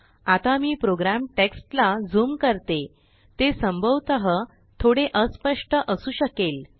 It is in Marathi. आता मी प्रोग्राम टेक्ष्टलाझूम करते ते संभवतः थोडे अस्पष्ट असू शकेल